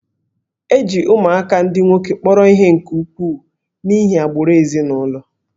E ji ụmụaka ndị nwoke kpọrọ ihe nke ukwuu n'ihi agbụrụ ezinụlọ